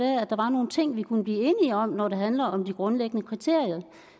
der var nogle ting vi kunne blive enige om når det handler om de grundlæggende kriterier